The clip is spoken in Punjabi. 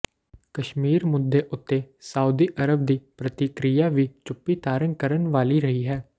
ਕਸ਼ਮੀਰ ਮੁੱਦੇ ਉੱਤੇ ਸਾਊਦੀ ਅਰਬ ਦੀ ਪ੍ਰਤੀਕਿਰਆ ਵੀ ਚੁੱਪੀ ਧਾਰਨ ਕਰਨ ਵਾਲੀ ਰਹੀ ਹੈ